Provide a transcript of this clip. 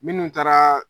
Minnu taara